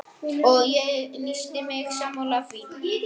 Og ég lýsti mig sammála því.